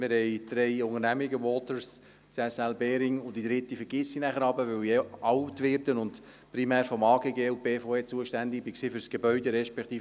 Wir haben drei Unternehmungen: Waters, CSL Behring – die dritte vergesse ich jeweils, weil ich alt werde und primär vonseiten der BVE mit dem Amt für Gebäude und Grünstücke (AGG) für die Gebäude zuständig war.